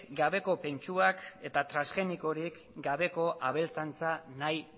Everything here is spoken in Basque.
gabeko pentsuak eta transgenikorik gabeko abeltzaintza nahi